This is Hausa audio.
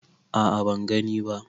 A a ban gani ba.